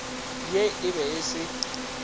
ye e be e se